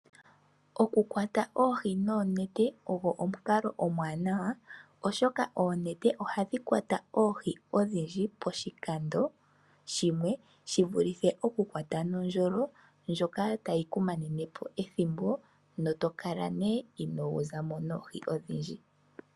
Okukwata oohi noonete, ogo omukalo omuwanawa oshoka oonete ohadhi kwata oohi odhindji poshikando shimwe shi vulithe okukwata nokandjolo hoka take ku manene po ethimbo, tokala ne inoo za mo noohi odhindji.